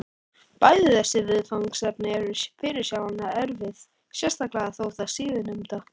Bæði þessi viðfangsefni eru fyrirsjáanlega erfið, sérstaklega þó það síðarnefnda.